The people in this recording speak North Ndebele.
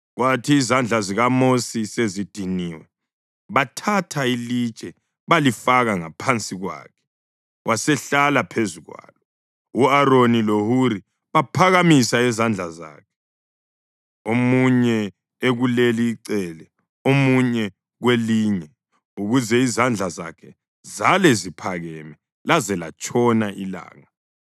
Kwathi izandla zikaMosi sezidiniwe bathatha ilitshe balifaka ngaphansi kwakhe wasehlala phezu kwalo. U-Aroni loHuri baphakamisa izandla zakhe, omunye ekuleli icele omunye kwelinye ukuze izandla zakhe zale ziphakeme laze latshona ilanga.